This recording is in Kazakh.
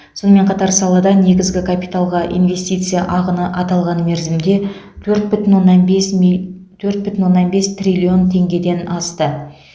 сонымен қатар салада негізгі капиталға инвестиция ағыны аталған мерзімде төрт бүтін оннан бес мил төрт бүтін оннан бес триллион теңгеден асты